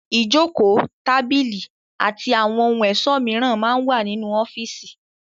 Ìjókòó, tábìlì àti àwọn ohun ẹ̀sọ́ mìíràn máa ń wà nínú ọ́fíísì.